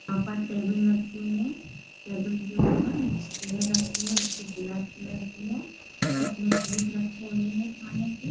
यहाँ पर टेबल रखी हुई है टेबल के ऊपर जो है रखी है जो ब्लैक कलर की है उसमें पीस रखे हुए हैं खाने के--